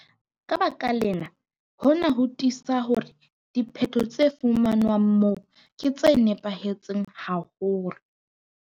Ka baka lena, hona ho tiisa hore diphetho tse fumanwang moo ke tse nepahetseng haholo.